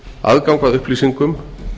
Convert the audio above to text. aðgang að upplýsingum